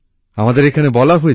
আমাদের এখানে বলা হয়েছে